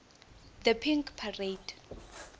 the pink parade